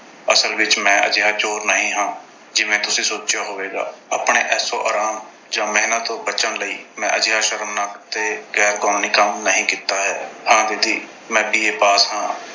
ਅਸਲ ਵਿੱਚ ਮੈਂ ਅਜਿਹਾ ਚੋਰ ਨਹੀਂ ਹਾਂ। ਜਿਵੇਂ ਤੁਸੀਂ ਸੋਚਿਆ ਹੋਵੇਗਾ। ਆਪਣੇ ਐਸ਼ੋ-ਆਰਾਮ ਜਾਂ ਮਿਹਨਤ ਤੋਂ ਬਚਣ ਲਈ ਮੈਂ ਅਜਿਹਾ ਸ਼ਰਮਨਾਕ ਤੇ ਗੈਰ-ਕਾਨੂੰਨੀ ਕੰਮ ਨਹੀਂ ਕੀਤਾ ਹੈ। ਹਾਂ ਦੀਦੀ, ਮੈਂ B. A pass ਹਾਂ।